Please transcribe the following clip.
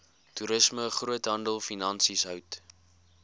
toerisme groothandelfinansies hout